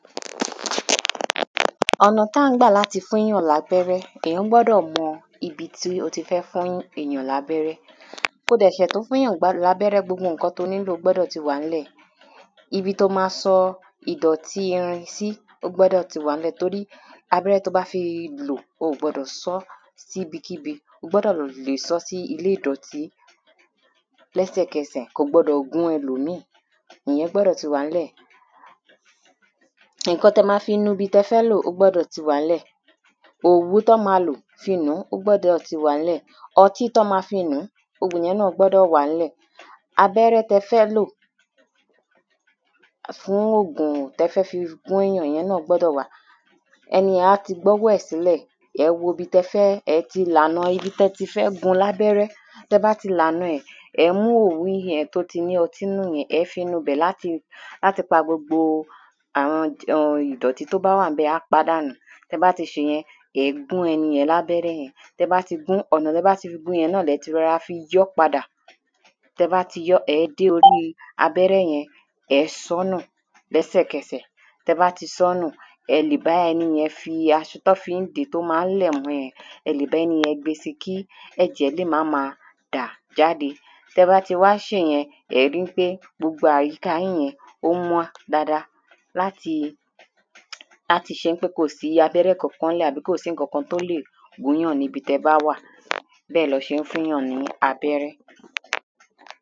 um ọ̀nà tí à ń gbà láti fún èyàn ní abẹ́rẹ́ Èyàn gbọ́dọ̀ mọ ibi tí ó ti fẹ́ fún èyàn ní abẹ́rẹ́ Kí ó dẹ̀ ṣẹ̀ tó fún èyàn ní abẹ́rẹ́ gbogbo nǹkan tí ó nílò gbọ́dọ̀ ti wà nílẹ̀ Ibi tí ó ma sọ ìdọ̀tí irin sí ó gbọ́dọ̀ ti wà ní lẹ̀ tórí abẹ́rẹ́ tí ó bá ti lò o ò gbọdọ̀ sọ si ibikíbi O gbọ́dọ̀ lè sọ́ sí ilé ìdọ̀tí lẹ́sẹ̀kẹsẹ̀ Kò gbọdọ̀ gún ẹlòmíì Ìyẹn gbọdọ̀ ti wà nílẹ̀ Nǹkan tí ẹ máa fi nu ibi tí ẹ fẹ́ lò ó gbọ́dọ̀ ti wà nílẹ̀ Òwú tí wọ́n ma lò fi nù ú ó gbọ́dọ̀ ti wà nílẹ̀ Ọtí tí wọ́n ma fí nu um ìyẹn náà gbọ́dọ̀ wà nílẹ̀ Abẹ́rẹ́ tí ẹ fẹ́ lò fún ògùn tí ẹ fẹ́ fi gún èyàn ìyẹn náà gbọ́dọ̀ wà Ẹni yẹn a ti gbé ọwọ́ ẹ̀ sí ilẹ̀ Ẹ ẹ́ wo ibi tí ẹ fẹ́ e ti lànà ibi tí ẹ ti fẹ́ gun ní abẹ́rẹ́ Tí ẹ bá ti lànà ẹ ẹ́ mú òwú yẹn tí ó ti ní ọtí nínú yẹn ẹ̀ ẹ́ fi nu ibẹ̀ láti pa gbogbo àwọn ìdọ̀tí tí ó bá wà ní ibẹ̀ Á pa á dànù Tí ẹ bá ti ṣe ìyẹn ẹ̀ ẹ́ gún ẹni yẹn ní abẹ́rẹ́ yẹn Tí ẹ bá ti gun ọ̀nà tí ẹ bá fi gun yẹn náà ni ẹ ti rọra fi yọ ọ́ padà Tí ẹ bá ti yọ ẹ̀ ẹ́ dé orí abẹ́rẹ́ yẹn Ẹ ẹ́ sọ ọ́ nù lẹ́sẹ̀kẹsẹ̀ Tí ẹ bá ti sọ́ nù ẹ̀ ẹ́ lè bá ẹni yẹn fi aṣọ tí wọn fi ń dè é tí ó ma ń lẹ̀ mọ yẹn ẹ lè bá ẹni yẹn gbe si kí ẹ̀jẹ̀ lè má ma dà jáde Tí ẹ bá ti wá ṣe ìyẹn ẹ̀ ẹ́ ri pé gbogbo àyíká yín yẹn ó mọ́ dada láti láti ṣe ń pé kò sí abẹ́rẹ́ kan nílẹ̀ àbí kò sí nǹkan tí o lè gún èyàn níbi tí ẹ bá wà bẹ́ẹ̀ ni wọ́n ṣe ń fún èyàn ní abẹ́rẹ́